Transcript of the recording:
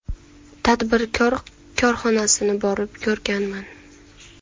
Tadbirkor korxonasini borib ko‘rganman.